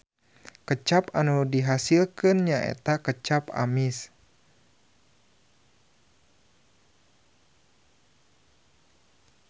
Kecap anu dihasilkeun nyaeta kecap amis.